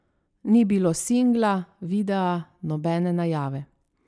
Ni bilo singla, videa, nobene najave.